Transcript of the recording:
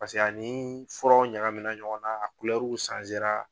Paseke ani furaw ɲagamina ɲɔgɔnna a